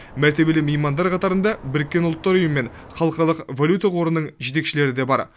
мәртебелі меймандар қатарында біріккен ұлттар ұйымы мен халықаралық валюта қорының жетекшілері де бар